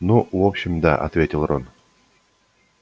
ну в общем да ответил рон